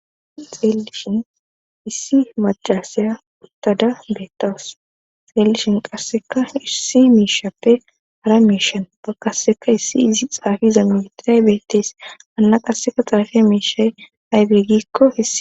xeelishin issi macasaya uttada beettawus xeellishin qasseka irsi miishappe hara miishan bakaseka issi izi xaafiza mitiray beettees anna qasseka xaafe miishay aybegikko hise